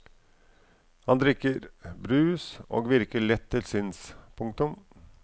Han drikker brus og virker lett til sinns. punktum